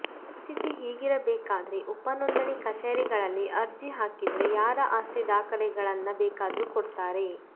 ಪರಿಸ್ಥಿತಿ ಹೀಗಿರಬೇಕಾದ್ರೆ ಉಪನೋಂದಣಿ ಕಚೇರಿಗಳಲ್ಲಿ ಅರ್ಜಿ ಹಾಕಿದ್ರೆ ಯಾರ ಆಸ್ತಿ ದಾಖಲೆಗಳನ್ನ ಬೇಕಾದ್ರೂ ಕೊಡ್ತಾರೆ